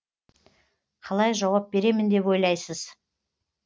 қалай жауап беремін деп ойлайсыз